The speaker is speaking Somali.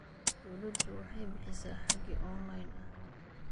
Dawladdu waxay bixisaa hage online ah.